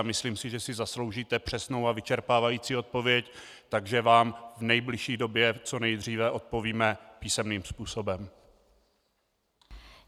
A myslím si, že si zasloužíte přesnou a vyčerpávající odpověď, takže vám v nejbližší době co nejdříve odpovíme písemným způsobem.